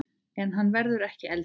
En hann verður ekki eldri.